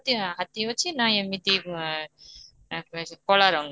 ହାତୀ ଅଛି ନ ଏମିତି ନ ଏମିତି କଲା ରଙ୍ଗ